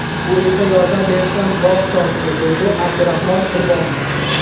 U esa yordam berishdan bosh tortdi”, deydi Abdurahmon Qurbonov.